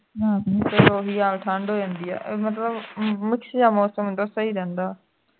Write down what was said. ਰਾਤ ਨੂੰ ਫਿਰ ਉਹੀ ਹਾਲ ਠੰਡ ਹੋ ਜਾਂਦੀ ਹੈ ਮਤਲਬ mix ਜੇਹਾ ਮੌਸਮ ਹੁੰਦਾ ਹੈ ਸਹੀ ਰਹਿੰਦਾ ਹੈ